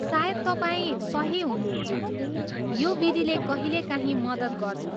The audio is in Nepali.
सायद तपाईँ सही हुनुहुन्छ, यो विधिले कहिलेकाहीँ मद्दत गर्छ।